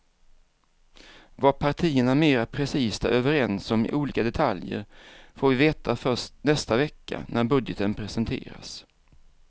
Vad partierna mera precist är överens om i olika detaljer får vi veta först nästa vecka när budgeten presenteras.